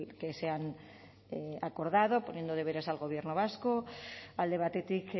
que se han acordado poniendo deberes al gobierno vasco alde batetik